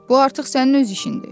Bu artıq sənin öz işindi.